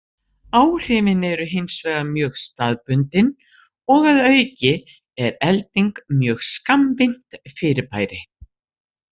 Áhrifin eru hins vegar mjög staðbundin og að auki er elding mjög skammvinnt fyrirbæri.